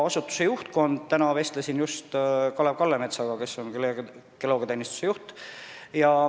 Just täna vestlesin Kalev Kallemetsaga, kes on geoloogiateenistuse juht.